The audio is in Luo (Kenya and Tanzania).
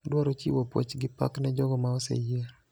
Adwaro chiwo puoch gi pak ne jogo ma oseyier